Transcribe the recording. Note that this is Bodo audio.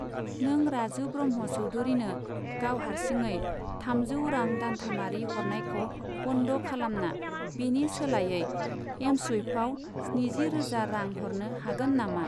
नों राजु ब्रह्म' चौधुरिनो गाव हारसिङै थामजौ रां दानथामारि हरनायखौ बन्द' खालामना बेनि सोलायै एमस्वुइफआव स्निजि रोजा रां हरनो हागोन नामा?